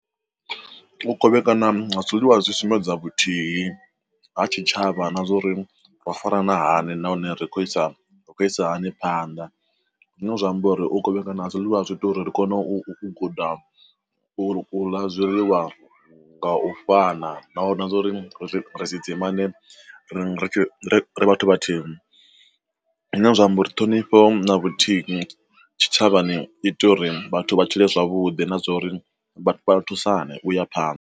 U kovhekana ha zwiḽiwa zwi sumbedza vhuthihi ha tshitshavha na zwori wa fara na hani nahone ri khoisa ri khou isa hani phanḓa. Zwine zwi amba uri u kovhekana ha zwiḽiwa zwi ita uri ri kone u guda u ḽa zwiḽiwa nga u fana na zwa uri ri ḓidzima ri ri vhathu vha thihi, zwine zwa amba uri ṱhonifho vhuthihi tshi tshavhani ita uri vhathu vha tshile zwavhuḓi na zwa uri vhathu vha thusa nṋe u ya phanḓa.